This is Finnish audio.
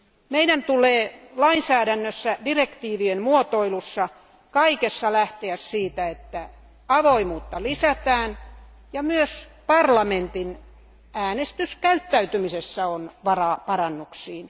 Meidän tulee lainsäädännössä, direktiivien muotoilussa, kaikessa lähteä siitä, että avoimuutta lisätään, ja myös parlamentin äänestyskäyttäytymisessä on varaa parannuksiin.